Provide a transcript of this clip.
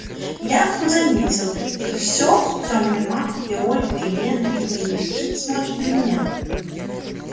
я вдруг заметил что всё и тёмный маг и ольга и лена и боевики смотрят на меня